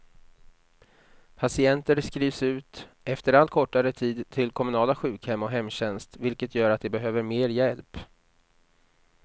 Patienter skrivs ut efter allt kortare tid till kommunala sjukhem och hemtjänst, vilket gör att de behöver mer hjälp.